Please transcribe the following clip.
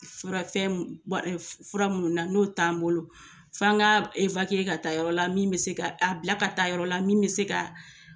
Fura fɛn fura minnu na n'o t'an bolo, f'an k'a ka taa yɔrɔ la min bɛ se k'a, abila ka taa yɔrɔ la min bɛ se k'a